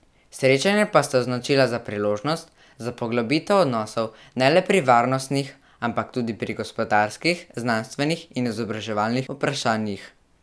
Srečanje pa sta označila za priložnost za poglobitev odnosov ne le pri varnostnih ampak tudi gospodarskih, znanstvenih in izobraževalnih vprašanjih.